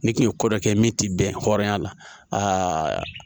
Ni kun ye ko dɔ kɛ min ti bɛn hɔrɔnya la aa